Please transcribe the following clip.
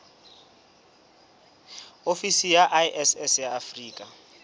ofisi ya iss ya afrika